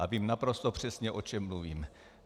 A vím naprosto přesně, o čem mluvím.